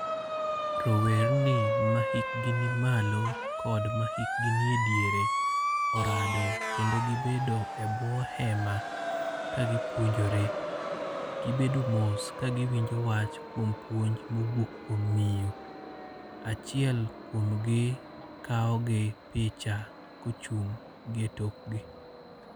Rowerni ma hikgi ni malo kod ma hikgi nie diere orado kendo gibedo e bwo hema ka gipuonjore. Gibedo mos ka giwinjo wach kuom puonj mowuok kuom miyo. Achiel kuom gi kawo gi picha kochung' gi e tokgi.